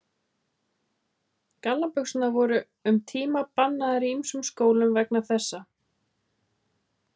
Gallabuxur voru um tíma bannaðar í ýmsum skólum vegna þessa.